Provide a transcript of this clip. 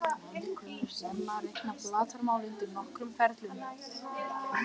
Menn kunnu snemma að reikna flatarmál undir nokkrum ferlum.